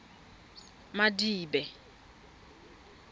madibe